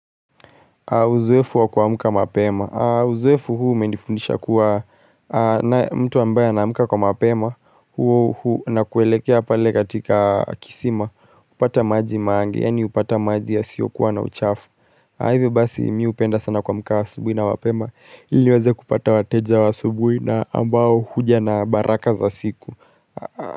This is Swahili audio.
Uzoefu wa kuamka mapema Uzoefu huu umenifundisha kuwa mtu ambae anamka kwa mapema na kuelekea pale katika kisima hupata maji mange yani hupata maji yasiyokuwa na uchafu. Kwa hivyo basi mimi hupenda sana kuamka asubuhi na mapema ili niweze kupata wateja wa asubui na ambao huja na baraka za siku.